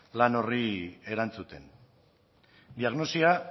lan horri erantzuten diagnosia